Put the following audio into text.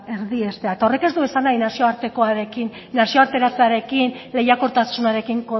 erdiestea eta horrek ez du esan nahi nazioartekoarekin nazioarteratzearekin lehiakortasunarekin